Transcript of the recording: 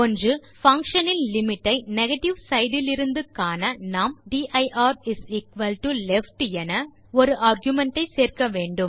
function இன் limit ஐ negative side இலிருந்து காண நாம் dirleft என ஒரு ஆர்குமென்ட் ஐ சேர்க்க வேண்டும்